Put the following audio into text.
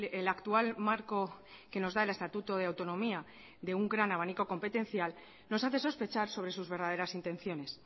el actual marco que nos da el estatuto de autonomía de un gran abanico competencial nos hace sospechar sobre sus verdaderas intenciones